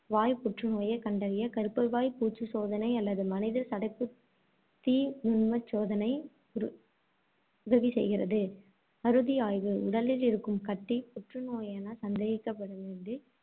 வாய் புற்றுநோயைக் கண்டறிய கருப்பைவாய் பூச்சு சோதனை அல்லது மனித சடைப்புத்துத் தீ நுண்மச்சோதனை உதவி செய்கிறது. அறுதி ஆய்வு உடலில் இருக்கும் கட்டி புற்று நோயென சந்தேகிக்கப்படும்போது,